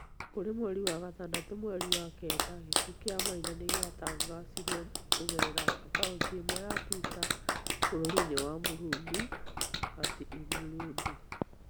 Kũrĩ mweri wa gatandatũ, mweri wa kenda, gĩkuũ kĩa Maina nĩgĩatangathiruo Kũgerera akaunti ĩmwe ya Twitter bũrũri-inĩ wa Burundi, @iBurundi,